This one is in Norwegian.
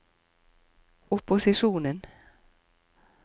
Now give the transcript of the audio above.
opposisjonen